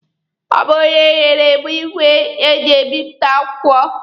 Ọ bụ onye a nyere m igwe eji ebipụta akwụkwọ.